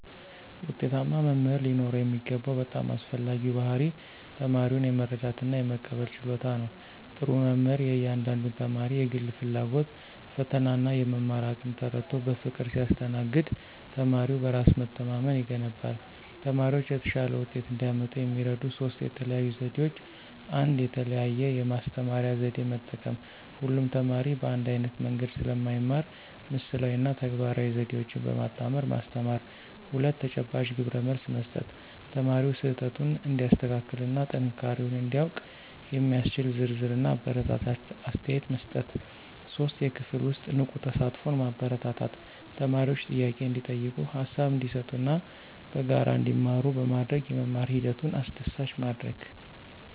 ውጤታማ መምህር ሊኖረው የሚገባው በጣም አስፈላጊው ባሕርይ ተማሪውን የመረዳትና የመቀበል ችሎታ ነው። ጥሩ መምህር የእያንዳንዱን ተማሪ የግል ፍላጎት፣ ፈተናና የመማር አቅም ተረድቶ በፍቅር ሲያስተናግድ ተማሪው በራስ መተማመን ይገነባል። ተማሪዎች የተሻለ ውጤት እንዲያመጡ የሚረዱ ሦስት የተለዩ ዘዴዎች፦ 1. የተለያየ የማስተማሪያ ዘዴ መጠቀም: ሁሉም ተማሪ በአንድ ዓይነት መንገድ ስለማይማር ምስላዊ እና ተግባራዊ ዘዴዎችን በማጣመር ማስተማር። 2. ተጨባጭ ግብረመልስ መስጠት: ተማሪው ስህተቱን እንዲያስተካክልና ጥንካሬውን እንዲያውቅ የሚያስችል ዝርዝርና አበረታች አስተያየት መስጠት። 3. የክፍል ውስጥ ንቁ ተሳትፎን ማበረታታት: ተማሪዎች ጥያቄ እንዲጠይቁ፣ ሃሳብ እንዲሰጡና በጋራ እንዲማሩ በማድረግ የመማር ሂደቱን አስደሳች ማድረግ።